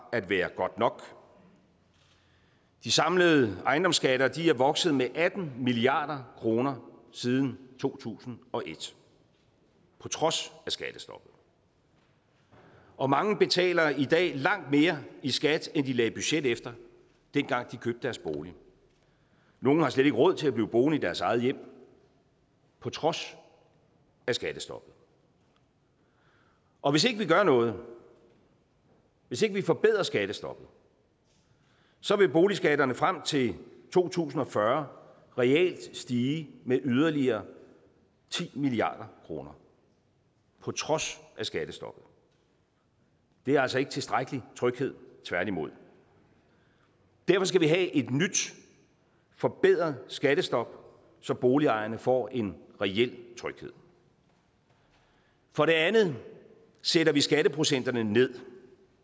godt nok de samlede ejendomsskatter er vokset med atten milliard kroner siden to tusind og et på trods af skattestoppet og mange betaler i dag langt mere i skat end de lagde budget efter dengang de købte deres bolig nogle har slet ikke råd til at blive boende i deres eget hjem på trods af skattestoppet og hvis ikke vi gør noget hvis ikke vi forbedrer skattestoppet så vil boligskatterne frem til to tusind og fyrre reelt stige med yderligere ti milliard kroner på trods af skattestoppet det er altså ikke tilstrækkelig tryghed tværtimod derfor skal vi have et nyt forbedret skattestop så boligejerne får en reel tryghed for det andet sætter vi skatteprocenterne nye